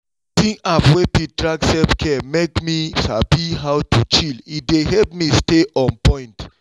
using app wey fit track self-care make me sabi how to chill e dey help me stay on point.